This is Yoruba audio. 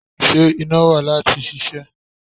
Ṣé iná wà láti ṣiṣẹ́?